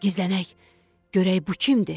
Gizlənək, görək bu kimdir?